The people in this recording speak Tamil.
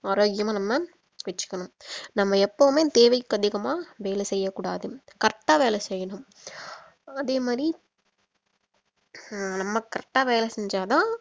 ஆரோக்கியமா நம்ப வெச்சிக்கணும் நம்ம எப்பவுமே தேவைக்கு அதிகமா வேலை செய்யக்கூடாது correct ஆ வேலை செய்யணும் அதே மாதிரி அஹ் நம்ம correct ஆ வேலை செஞ்சா தான்